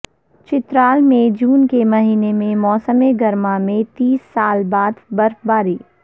چترال میں جون کے مہینے میں موسم گرما میں تیس سال بعد برفباری